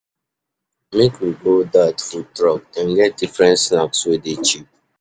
Make we go dat food truck, dem get different snacks wey dey cheap.